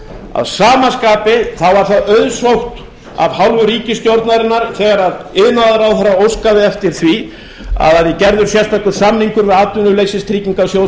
að sama skapi þá var það auðsótt af hálfu ríkisstjórnarinnar þegar iðnaðarráðherra óskaði eftir því að það væri gerður sérstakur samningur við atvinnuleysistryggingasjóð